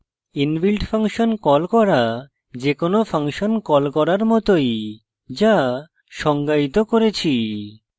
inbuilt function call করা যেকোনো function call করার মতই যা সংজ্ঞায়িত করেছি